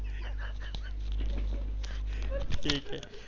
ठीक आहे.